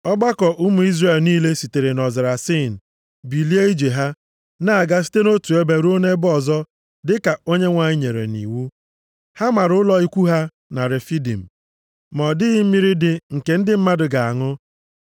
Ọgbakọ ụmụ Izrel niile sitere nʼọzara Sin bilie ije ha, na-aga site nʼotu ebe ruo nʼebe ọzọ dịka Onyenwe anyị nyere nʼiwu. Ha mara ụlọ ikwu ha na Refidim, ma ọ dịghị mmiri dị nke ndị mmadụ ga-aṅụ.